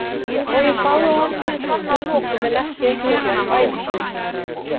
Og ég sagði honum hið sanna að lokum en ekki eitthvert ævintýri.